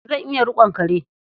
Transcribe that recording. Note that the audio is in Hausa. Zan iya riƙon kare.